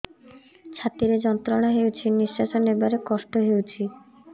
ଛାତି ରେ ଯନ୍ତ୍ରଣା ହେଉଛି ନିଶ୍ଵାସ ନେବାର କଷ୍ଟ ହେଉଛି